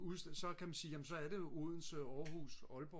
så kan man sige jamen så er det jo Odense Aalborg Aarhus